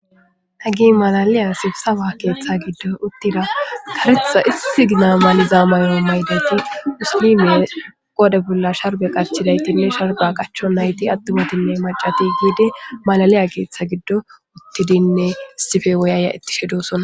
ha gi malaliya sibsawa keeththa giddo uttida karetha issi gina maliza mayo maydati musilime qoode bolla sharbe qarchidaytinne sharba qacho nayti attumatinne macati giidi malaliya keeththa giddo uttidinne istife woyaya ittishe dosonna